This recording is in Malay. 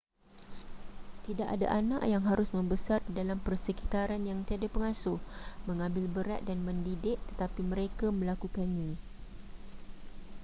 tidak ada anak yang harus membesar di dalam persekitaran yang tiada pengasuh mengambil berat dan mendidik tetapi mereka melakukannya